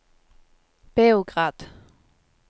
Beograd